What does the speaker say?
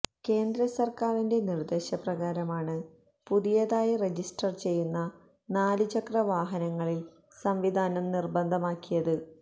കേന്ദ്ര സർക്കാരിന്റെ നിർദ്ദേശപ്രകാരമാണ് പുതിയതായി രജിസ്റ്റർ ചെയ്യുന്ന നാലു ചക്ര വാഹനങ്ങളിൽ സംവിധാനം നിർബന്ധമാക്കിയത്